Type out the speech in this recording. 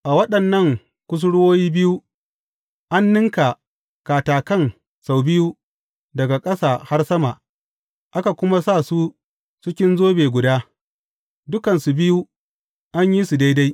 A waɗannan kusurwoyi biyu, an ninka katakan sau biyu daga ƙasa har sama, aka kuma sa su cikin zobe guda; dukansu biyu an yi su daidai.